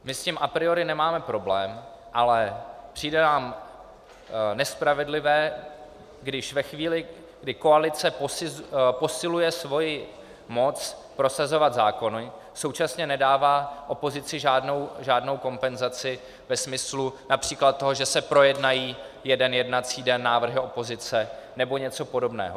My s tím a priori nemáme problém, ale přijde nám nespravedlivé, když ve chvíli, kdy koalice posiluje svoji moc prosazovat zákony, současně nedává opozici žádnou kompenzaci ve smyslu například toho, že se projednají jeden jednací den návrhy opozice, nebo něco podobného.